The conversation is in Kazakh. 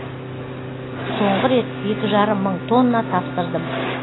соңғы рет екі жарым мың тонна тапсырдым